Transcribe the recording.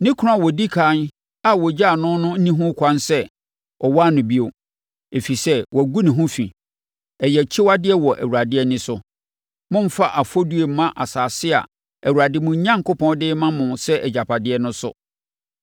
ne kunu a ɔdi ɛkan a ɔgyaa no no nni ho ɛkwan sɛ ɔware no bio, ɛfiri sɛ, wagu ne ho fi. Ɛyɛ akyiwadeɛ wɔ Awurade ani so. Mommfa afɔbuo mma asase a Awurade, mo Onyankopɔn, de rema mo sɛ agyapadeɛ no so.